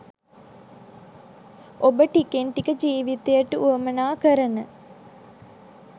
ඔබ ටිකෙන් ටික ජීවිතයට වුවමනා කරන